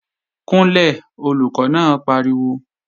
Kúnlẹ̀, Olùkọ́ náà pariwo!